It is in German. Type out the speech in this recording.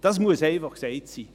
Dies muss einfach gesagt sein.